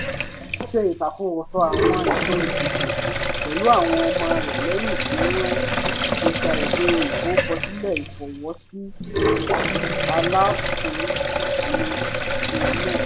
ó ṣe ìtàkùrọ̀sọ àwọn ẹ̀tọ́ ìdìbò pẹ̀lú àwọn ọmọ rẹ̀ lẹ́yìn tí wọ́n ti gba ìwé ìforúkọsílẹ̀ ìfọwọ́sí alátùnúnṣe náà